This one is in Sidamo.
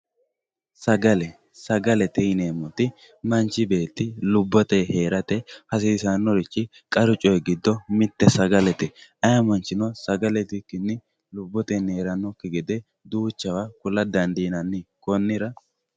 sagale sagalete yineemmoti manchi beetti lubbotey heerate hasiisannoricho qaru coy giddo mitte sagalete ay manchino sagale itikkinni lubbotey heerannokki gede duuchawa kula dandiinanni kunnira